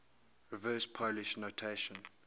reverse polish notation